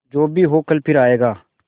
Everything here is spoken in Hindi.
जो भी हो कल फिर आएगा